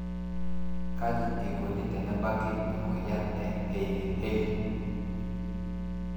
Kaji eikoni tenebaki emoyian e Hailey Hailey